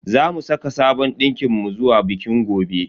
Zamu saka sabon dinkin mu zuwa bikin gobe.